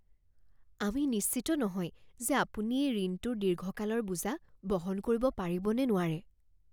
আমি নিশ্চিত নহয় যে আপুনি এই ঋণটোৰ দীৰ্ঘকালৰ বোজা বহন কৰিব পাৰিব নে নোৱাৰে।